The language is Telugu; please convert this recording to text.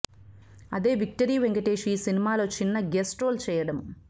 అదే విక్టరీ వెంకటేష్ ఈ సినిమాలో చిన్న గెస్ట్ రోల్ చేయడం